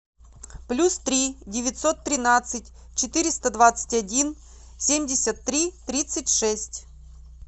плюс три девятьсот тринадцать четыреста двадцать один семьдесят три тридцать шесть